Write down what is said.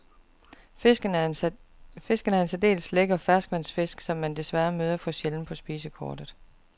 Fisken er en særdeles lækker ferskvandsfisk, som man desværre møder for sjældent på spisekortet.